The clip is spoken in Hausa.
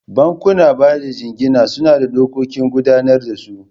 Bankunan bada jingina suna da dokokin gudanar da su.